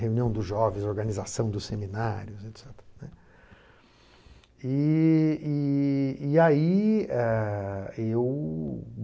Reunião dos jovens, organização dos seminários, et cetera, né. E e e aí, ah, eu